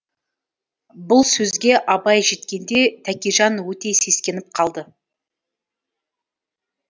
бұл сөзге абай жеткенде тәкежан өте сескеніп қалды